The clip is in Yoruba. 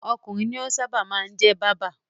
Ọkùnrin ní ó máa ń sábà jẹ́ báábà.